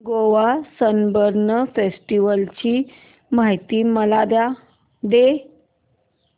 Goa Sunburn festival ची माहिती मला दे